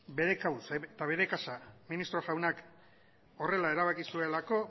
bere kabuz eta bere kasa ministro jaunak horrela erabaki zuelako